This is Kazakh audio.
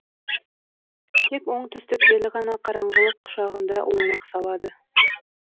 тек оңтүстік желі ғана қараңғылық құшағында ойнақ салады